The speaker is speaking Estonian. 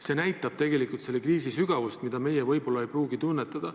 See näitab tegelikult selle kriisi sügavust, mida meie võib-olla ei pruugi tunnetada.